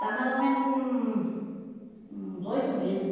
Está mais ou menos com... Uns oito meses.